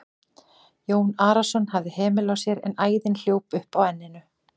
Jón Arason hafði hemil á sér en æðin hljóp upp á enninu.